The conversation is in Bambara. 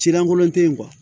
Ci lankolon te yen